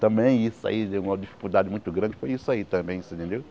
Também isso aí, deu uma dificuldade muito grande foi isso aí também, você entendeu?